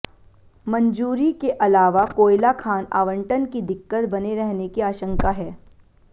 मंजूरी के अलावा कोयला खान आवंटन की दिक्कत बने रहने की आशंका है